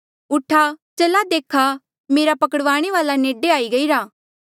ऊठा चला देखा मेरा पकड़वाणे वाल्आ नेडे आई गईरा